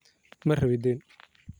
Marawi deen.